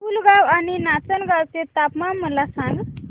पुलगांव आणि नाचनगांव चे तापमान मला सांग